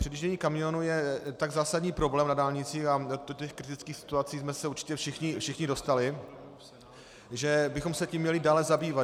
Předjíždění kamionů je tak zásadní problém na dálnicích, a do těch kritických situací jsme se určitě všichni dostali, že bychom se tím měli dále zabývat.